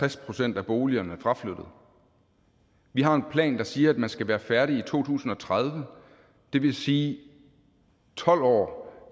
er tres procent af boligerne fraflyttet vi har en plan der siger at man skal være færdig i to tusind og tredive det vil sige tolv år